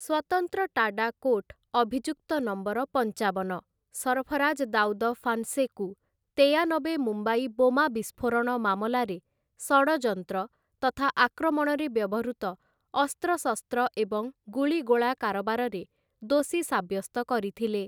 ସ୍ୱତନ୍ତ୍ର TADA court ଅଭିଯୁକ୍ତ number ପଞ୍ଚାବନ, ସରଫରାଜ ଦାଉଦ ଫାନ୍‌ସେକୁ, ତେୟାନବେ ମୁମ୍ବାଇ ବୋମା ବିସ୍ଫୋରଣ ମାମଲାରେ, ଷଡ଼ଯନ୍ତ୍ର ତଥା ଆକ୍ରମଣରେ ବ୍ୟବହୃତ ଅସ୍ତ୍ରଶସ୍ତ୍ର ଏବଂ ଗୁଳିଗୋଳା କାରବାରରେ ଦୋଷୀ ସାବ୍ୟସ୍ତ କରିଥିଲେ ।